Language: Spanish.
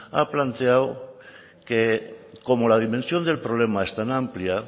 ha planteado que como la dimensión del problema es tan amplia